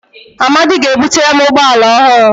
Amadi ga-ebutere m ụgbọ ala ọhụrụ